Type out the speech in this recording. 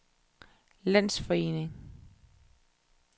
landsforening